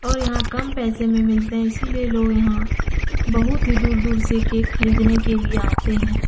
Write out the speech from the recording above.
और यहाँ कम पैसे में मिलते हैं। इसीलिए लोग यहाँ बहुत ही दूर- दूर से केक खरीदने के लिए आते हैं।